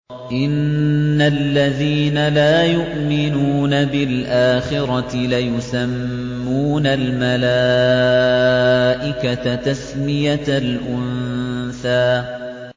إِنَّ الَّذِينَ لَا يُؤْمِنُونَ بِالْآخِرَةِ لَيُسَمُّونَ الْمَلَائِكَةَ تَسْمِيَةَ الْأُنثَىٰ